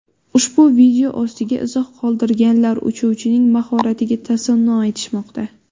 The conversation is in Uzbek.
Ushbu video ostiga izoh qoldirganlar uchuvchining mahoratiga tasanno aytishmoqda.